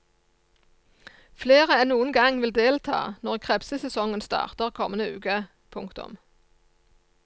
Flere enn noen gang vil delta når krepsesesongen starter kommende uke. punktum